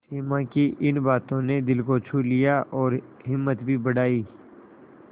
सिमा की इन बातों ने दिल को छू लिया और हिम्मत भी बढ़ाई